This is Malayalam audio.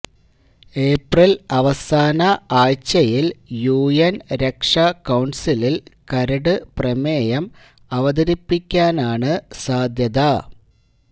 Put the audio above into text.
ഏപ്രില് അവസാന ആഴ്ചയില് യുഎന് രക്ഷാകൌണ്സിലില് കരട് പ്രമേയം അവതരിപ്പിക്കാനാണ് സാധ്യത